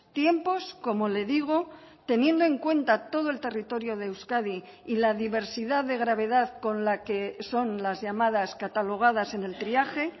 tiempos como le digo teniendo en cuenta todo el territorio de euskadi y la diversidad de gravedad con la que son las llamadas catalogadas en el triaje